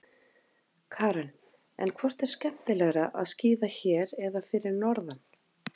Karen: En hvort er skemmtilegra að skíða hér eða fyrir norðan?